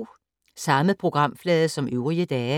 Samme programflade som øvrige dage